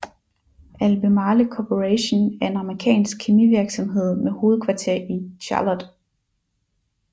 Albemarle Corporation er en amerikansk kemivirksomhed med hovedkvarter i Charlotte